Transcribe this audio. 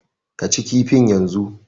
Ka ci kifin yanzu!